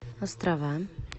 острова